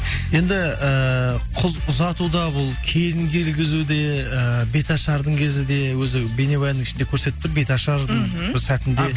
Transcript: енді ііі қыз ұзатуда бұл келін келгізуде ііі беташардың кезі де өзі бейнебаянның ішінде көрсетіп тұр беташардың мхм бір сәтінде